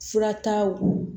Furataw